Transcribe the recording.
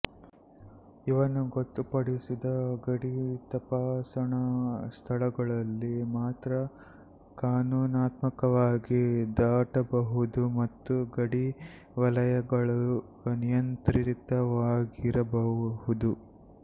ಇವನ್ನು ಗೊತ್ತುಪಡಿಸಿದ ಗಡಿ ತಪಾಸಣಾ ಸ್ಥಳಗಳಲ್ಲಿ ಮಾತ್ರ ಕಾನೂನಾತ್ಮಕವಾಗಿ ದಾಟಬಹುದು ಮತ್ತು ಗಡಿ ವಲಯಗಳು ನಿಯಂತ್ರಿತವಾಗಿರಬಹುದು